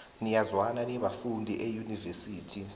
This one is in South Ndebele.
niyazwana nibafundi eunivesithi